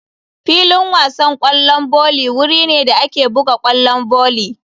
Filin wasan kwallon volley wuri ne da ake buga kwallon volley.